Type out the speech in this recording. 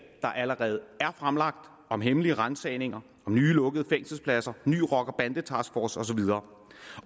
der allerede er fremlagt om hemmelige ransagninger om nye lukkede fængselspladser ny rocker bande taskforce og så videre